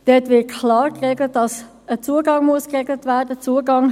Dort wird klar geregelt, dass ein Zugang gewährt werden muss.